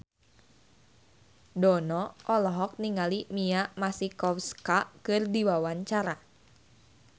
Dono olohok ningali Mia Masikowska keur diwawancara